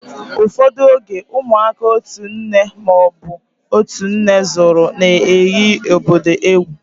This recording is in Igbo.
Ụfọdụ oge, ụmụaka otu nne ma ọ bụ otú nne zúru na-eghi obodo egwú